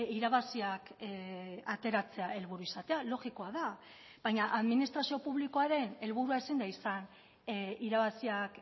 irabaziak ateratzea helburu izatea logikoa da baina administrazio publikoaren helburua ezin da izan irabaziak